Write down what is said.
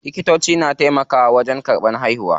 Likitoci na taimakawa wajen karɓan haihuwa.